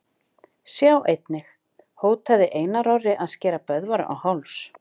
Sjá einnig: Hótaði Einar Orri að skera Böðvar á háls?